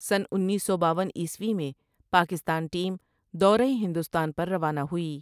سنہ انیس سو باون عیسوی میں پاکستان ٹیم دورہ ہندوستان پر روانہ ہوئی ۔